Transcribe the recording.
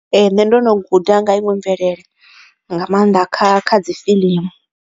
Ee, ndo no guda nga ha iṅwe mvelelo nga mannḓa kha kha dzi fiḽimu.